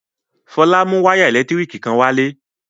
Fọlá mú wayà ẹ̀lẹ́tíríkì kan wálé.